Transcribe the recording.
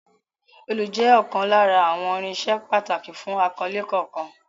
Òòlù jẹ́ ọ̀kan lára àwọn irinṣẹ́ pàtàkì fún akọ́lé kankan.